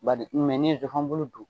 Badi ni ye zɔfɔn bulu dun